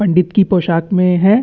पंडित की पोशाक मे है।